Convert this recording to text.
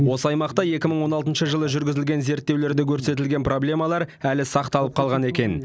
осы аймақта екі мың он алтыншы жылы жүргізілген зерттеулерде көрсетілген проблемалар әлі сақталып қалған екен